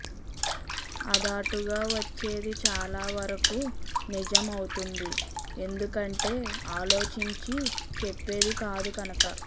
అధాటుగా వచ్చేది చాలా వరకూ నిజం అవుతుంది ఎందుకంటే అలోచించి చెప్పేది కాదు కనక